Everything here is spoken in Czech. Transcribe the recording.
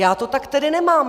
Já to tak tedy nemám.